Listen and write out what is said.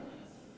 Palun lisaaega!